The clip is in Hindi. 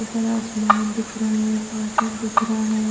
ऊपर आसमान दिख रहा है बादल दिख रहा है।